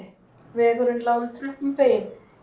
Vegurinn lá í kröppum beygjum